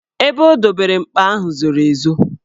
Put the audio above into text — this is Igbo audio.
Ebe o dobere mkpa ahụ zoro ezo.